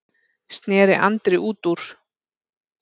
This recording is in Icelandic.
sneri Andri út úr.